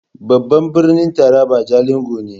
Babban birnin Taraba jalingo ne.